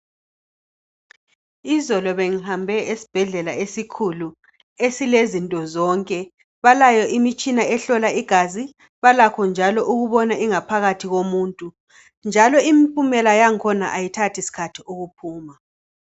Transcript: Izolo bengihambe esibhedlela esikhulu esilezinto zonke. Balayo imitshina ehlola igazi, balakho njalo ukubona ingaphakathi yomuntu njalo impumela yakhona ayithathi sikhathi ukuphuma.